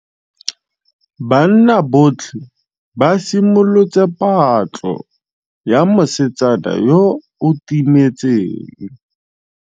Banna botlhê ba simolotse patlô ya mosetsana yo o timetseng.